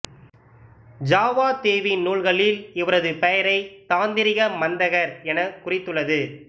Java தீவின் நூல்களில் இவரது பெயரை தாந்திரிகமந்தகர் எனக் குறித்துள்ளது